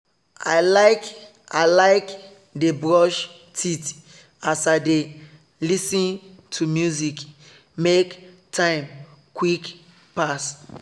i like i like dey brush teeth as i dey lis ten to music make time quick pass